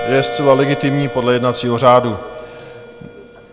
Je zcela legitimní podle jednacího řádu.